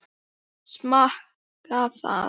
Smakka það.